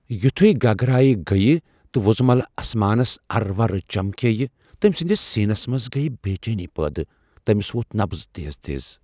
یُتھوٕے گگرایہ گٕیہِ تہٕ وُزملہٕ اسمانس ارٕ ورٕ چمكییہِ ، تٔمۍ سندِس سینس منز گیہ بیچینی پٲدٕ ،تمِس وۄتھ نبض تیز تیز ۔